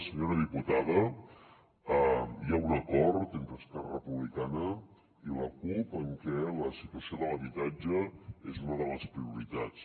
senyora diputada hi ha un acord entre esquerra republicana i la cup en què la situació de l’habitatge és una de les prioritats